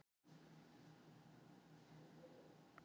Bjarný, hvaða dagur er í dag?